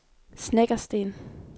Snekkersten